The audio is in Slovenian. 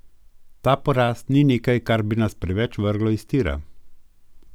Ta poraz ni nekaj, kar bi nas preveč vrglo iz tira.